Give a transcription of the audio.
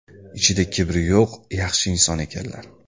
Ichida kibri yo‘q yaxshi inson ekanlar.